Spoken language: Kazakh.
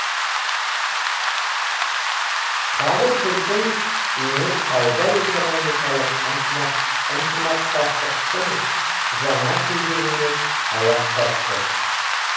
қазір біздің өңір сауда экономикалық ынтымақтастықтың жаңа кезеңіне аяқ басты